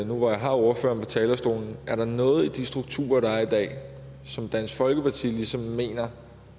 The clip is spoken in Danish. nu når jeg har ordføreren på talerstolen at høre er der noget i de strukturer der er i dag som dansk folkeparti ligesom mener